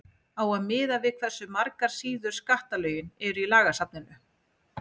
á að miða við hversu margar síður skattalögin eru í lagasafninu